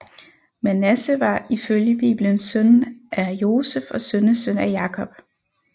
Manasse var ifølge Bibelen søn af Josef og sønnesøn af Jakob